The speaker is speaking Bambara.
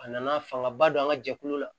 A nana fangaba don an ka jɛkulu la